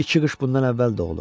İki qış bundan əvvəl doğulub.